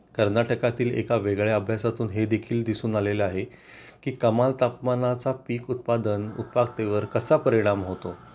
कर्नाटकातील एका वेगळ्या अभ्यासातून हे देखील दिसून आलेलं आहे की कमाल तापमानाचा पीक उत्पादन उत्पादकते वर कसा परिणाम होतो